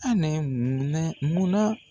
Anɛ munɛ mun na.